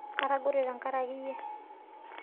Katogore tangareke iyie